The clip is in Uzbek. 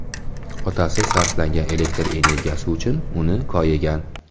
Otasi sarflangan elektr energiyasi uchun uni koyigan.